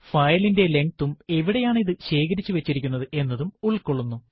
ഫയലിന്റെ length ഉം എവിടെയാണ് ഇത് ശേഖരിച്ചു വച്ചിരിക്കുന്നത് എന്നതും ഉൾകൊള്ളുന്നു